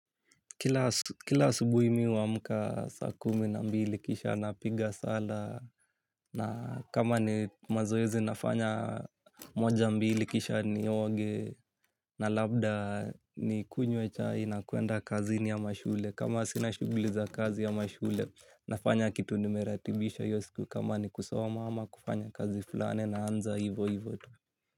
Kila asubuhi mimi huamka saa kumi na mbili kisha na piga sala na kama ni mazoezi nafanya moja mbili kisha ni oge na labda ni kunywe chai na kuenda kazini ama shule. Kama sina shughuli za kazi ama shule nafanya kitu nimeratibisha hiyo siku kama ni kusoma ama kufanya kazi fulani naanza hivo hivo tu.